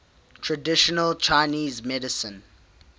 traditional chinese medicine